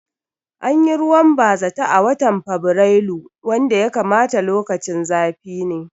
Anyi ruwan bazata a watan a fabirailu wanda ya kamata lokacin zafi ne